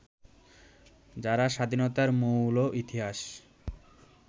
যারা স্বাধীনতার মৌল ইতিহাস